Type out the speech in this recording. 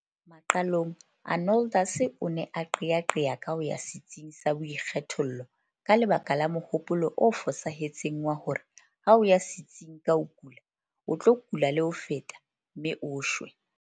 Maqalong Arnoldus o ne a qeaqea ka ho ya setsing sa boikgethollo ka lebaka la mohopolo o fosahetseng wa hore ha o ya setsing ka o kula o tlo kula le ho feta mme o shwe.